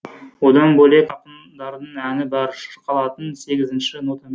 одан бөлек ақындардың әні бар шырқалатын сегізінші нотамен